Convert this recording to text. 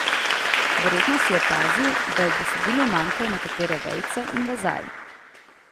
Verjetno si opazil, da v besedilu manjkajo nekatere vejice in vezaji.